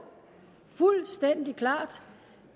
fuldstændig klart